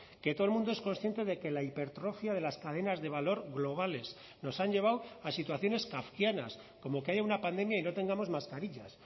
que todo el mundo es consciente de que la hipertrofia de las cadenas de valor globales nos han llevado a situaciones kafkianas como que haya una pandemia y no tengamos mascarillas